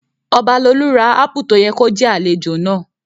Ọbalolú ra ápù tó yẹ kó jẹ́ àlejò náà